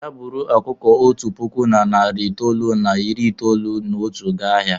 Bịa buru ọkụkọ otu puku na narị itoolu na iri itoolu na otu gaa ahịa!